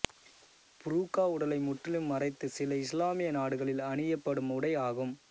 புரூக்கா உடலை முற்றிலும் மறைத்து சில இஸ்லாமிய நாடுகளில் அணியப்படும் உடை ஆகும்